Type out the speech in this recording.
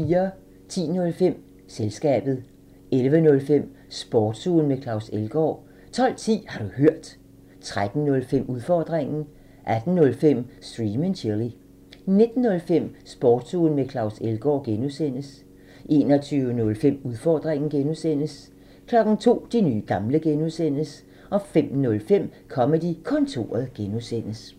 10:05: Selskabet 11:05: Sportsugen med Claus Elgaard 12:10: Har du hørt? 13:05: Udfordringen 18:05: Stream and chill 19:05: Sportsugen med Claus Elgaard (G) 21:05: Udfordringen (G) 02:00: De nye gamle (G) 05:05: Comedy-kontoret (G)